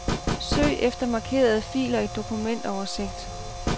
Søg efter markerede filer i dokumentoversigt.